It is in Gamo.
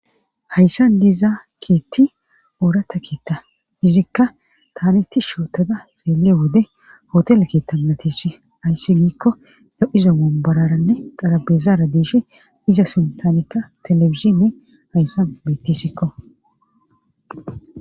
hayssan diza biitti oorata biitti tta izikka taaniti shootada leele wode hotele kittannatissi ayssi giikko do7izo mombararanne qarabezaara diishi iza sintanikka telefizshinne hayssan mettisikko